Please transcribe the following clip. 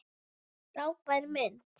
Frábær mynd!